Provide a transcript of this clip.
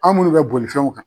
An munnu bɛ bolifɛnw kan.